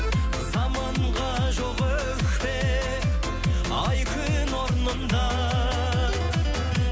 заманға жоқ өкпе ай күн орнында